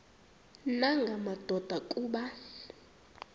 nanga madoda kuba